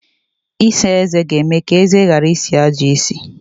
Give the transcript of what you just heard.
Ịsa eze ga-eme ka eze ghara isi ajọ isi.